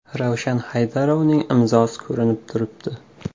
Ravshan Haydarovning imzosi ko‘rinib turibdi.